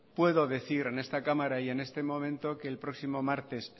puedo decir en esta cámara y en este momento que próximo martes